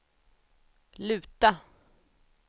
luta